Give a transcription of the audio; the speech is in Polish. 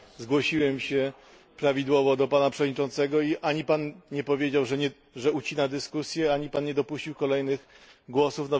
Zgłosiłem się prawidłowo do Pana Przewodniczącego i ani Pan nie powiedział, że ucina dyskusję, ani Pan nie dopuścił kolejnych głosów.